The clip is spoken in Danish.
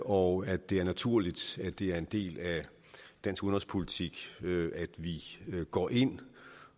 og at det er naturligt at det er en del af dansk udenrigspolitik at vi går ind